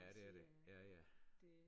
Ja det er det ja ja